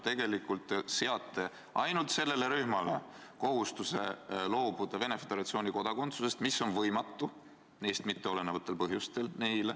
Te seate ainult sellele rühmale kohustuse loobuda Venemaa Föderatsiooni kodakondsusest, mis on võimatu neist mitteolenevatel põhjustel.